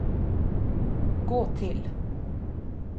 gå til